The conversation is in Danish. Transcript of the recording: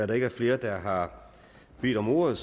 der ikke er flere der har bedt om ordet